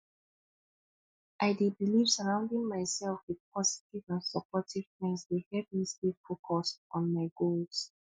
i dey believe surrounding myself with positive and supportive friends dey help me stay focused on my goals